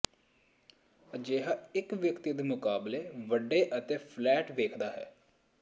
ਅਜਿਹਾ ਇੱਕ ਵਿਅਕਤੀ ਦੇ ਮੁਕਾਬਲੇ ਵੱਡੇ ਅਤੇ ਫਲੈਟ ਵੇਖਦਾ ਹੈ